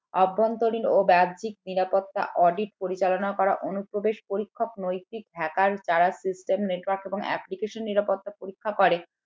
অভ্যন্তরীণ ও বাহ্যিক নিরাপত্তা audit পরিচালনা করা অনুপ্রবেশ পরীক্ষক নৈতিক hackers দ্বারা system network এবং application নিরাপত্তা পরীক্ষা করে